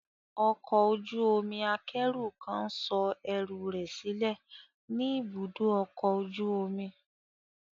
Ọkọ̀ ojú omi akẹ́rù kan ń sọ ẹrù rẹ̀ sílẹ̀ ní ibùdó ọkọ̀ ojú omi.